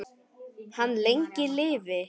Hann lengi lifi.